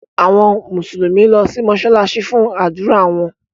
Àwọn Mùsùlùmí lọ si mósálásí fun ádùra wọn.